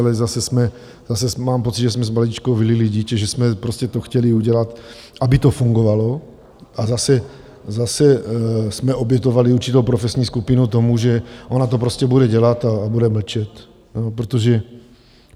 Ale zase mám pocit, že jsme s vaničkou vylili dítě, že jsme prostě to chtěli udělat, aby to fungovalo, ale zase jsme obětovali určitou profesní skupinu tomu, že ona to prostě bude dělat a bude mlčet.